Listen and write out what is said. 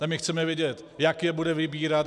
A my chceme vědět: Jak je bude vybírat?